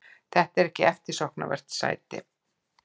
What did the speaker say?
Þetta er ekki eftirsóknarvert sæti.